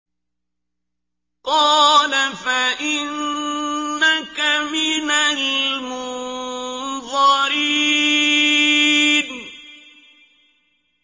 قَالَ فَإِنَّكَ مِنَ الْمُنظَرِينَ